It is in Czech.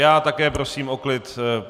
Já také prosím o klid!